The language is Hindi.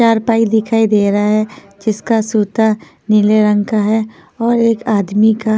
चारपाई दिखाई दे रहा है जिसका सूता नीले रंग का है और एक आदमी का--